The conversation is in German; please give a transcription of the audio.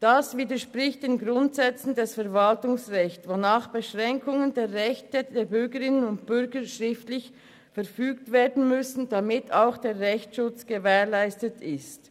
Das widerspricht den Grundsätzen des Verwaltungsrechts, wonach Beschränkungen der Rechte der Bürgerinnen und Bürger schriftlich verfügt werden müssen, damit auch der Rechtsschutz gewährleistet ist.